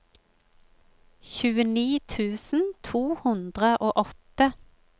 tjueni tusen to hundre og åtte